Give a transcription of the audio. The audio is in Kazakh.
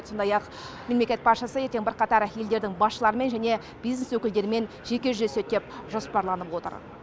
сондай ақ мемлекет басшысы ертең бірқатар елдердің басшыларымен және бизнес өкілдерімен жеке жүздеседі деп жоспарланып отыр